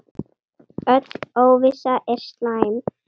Öll óvissa er slæm.